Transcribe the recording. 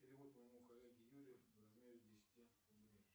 перевод моему коллеге юрию в размере десяти рублей